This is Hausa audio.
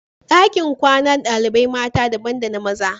Dakin kwanan dalibain mata daban da na maza.